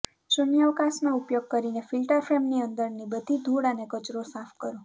શૂન્યાવકાશનો ઉપયોગ કરીને ફિલ્ટર ફ્રેમની અંદરની બધી ધૂળ અને કચરો સાફ કરો